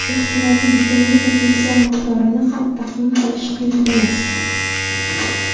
Ehtimoliy bitimning potensial miqdorini ham taxmin qilish qiyin emas.